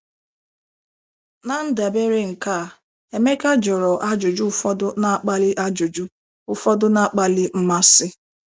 Na ndabere nke a,Emeka jụrụ ajụjụ ụfọdụ na-akpali ajụjụ ụfọdụ na-akpali mmasị.